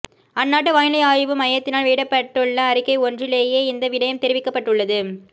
அந்நாட்டு வானிலை ஆய்வு மையத்தினால் வெளியிடப்பட்டுள்ள அறிக்கை ஒன்றிலேயே இந்த விடயம் தெரிவிக்கப்பட்டுள்ளது